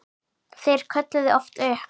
Þeir kölluðu oft upp